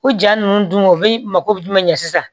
O jaa ninnu dun o bɛ mako bɛ jumɛn sisan